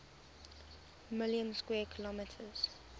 million square kilometers